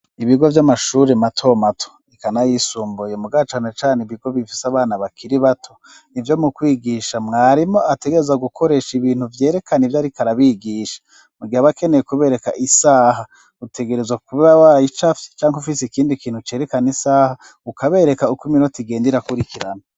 Ibigo by'amashuri mato mato ikanayisumbuye mu gacana cane ibigo bifise abana bakiri bato ibyo mu kwigisha mwarimo ategereza gukoresha ibintu byerekana ibyo ari karabigisha mu giha b akeneye kubereka isaha utegereza kuba wayicafye cyangwa ufise ikindi kintu cerekana isaha ukabereka uko iminota igenda ira kurikirana.